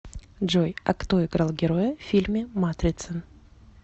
джой а кто играл героя в фильме матрица